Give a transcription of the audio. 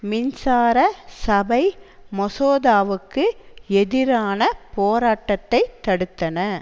மின்சார சபை மசோதாவுக்கு எதிரான போராட்டத்தை தடுத்தன